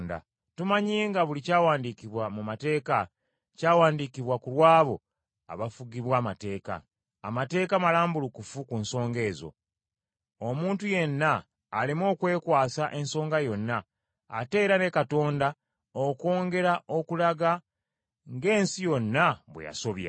Tumanyi nga buli kyawandiikibwa mu mateeka, kyawandiikibwa ku lw’abo abafugibwa amateeka. Amateeka malambulukufu ku nsonga ezo, omuntu yenna aleme okwekwasa ensonga yonna, ate era ne Katonda okwongera okulaga ng’ensi yonna bwe yasobya.